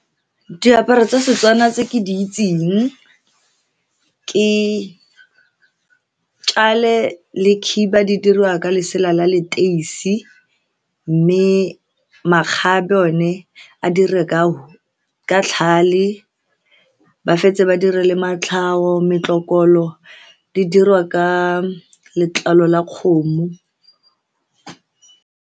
Diaparo tsa Setswana tse ke di itseng ke tjhale le khiba di diriwa ka lesela la leteisi, mme makgabe one a diriwa ka tlhale, ba fetse ba dire le matlhau. Metlokolo di diriwa ka letlalo la kgomo.